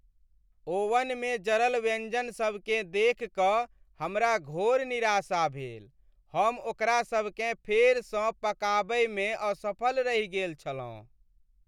ओवनमे जरल व्यंजनसभकेँ देखि कऽ हमरा घोर निराशा भेल। हम ओकरासभकेँ फेरसँ पकाबयमे असफल रहि गेल छलहुँ।